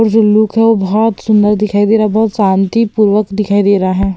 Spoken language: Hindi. और जो लुक है बहौत सुन्दर दिखाई दे रहा है बहौत शांतिपूर्वक दिखाई दे रहा है।